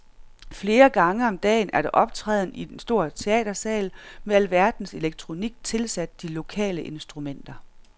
Flere gange om dagen er der optræden i en stor teatersal med alverdens elektronik tilsat de lokale instrumenter.